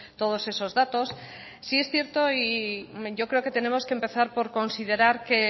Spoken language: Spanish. todos esos datos sí es cierto y yo creo que tenemos que empezar por considerar que